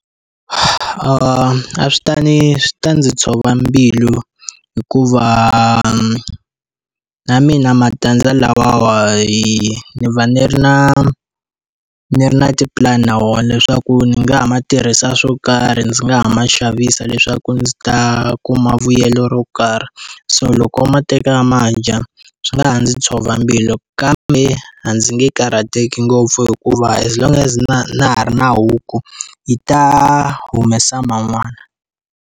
A swi ta ni swi ta ndzi tshova mbilu hikuva na mina matandza lamawa ni va ndzi ri na ndzi ri na tipulani na wona leswaku ndzi nga ha ma tirhisa swo karhi, ndzi nga ha ma xavisa leswaku ndzi ta kuma vuyelo ro karhi. So loko a ma teka a ma dya swi nga ha ndzi tshova mbilu kambe, a ndzi nge karhateki ngopfu hikuva as long as na na ha ri na huku yi ta humesa man'wana.